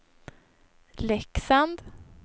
Leksand